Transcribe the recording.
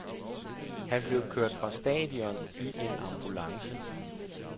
Han blev kørt fra stadion i en ambulance.